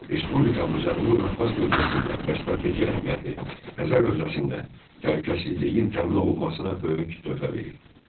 Respublikamız Cənubi Qafqaz bölgəsində və strateji əhəmiyyətli Xəzər hövzəsində təhlükəsizliyin təmin olunmasına böyük töhfə verir.